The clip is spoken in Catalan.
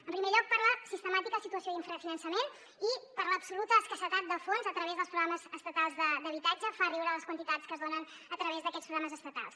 en primer lloc per la sistemàtica situació d’infrafinançament i per l’absoluta escassetat de fons a través dels programes estatals d’habitatge fan riure les quantitats que es donen a través d’aquests programes estatals